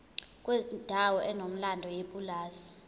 kwendawo enomlando yepulazi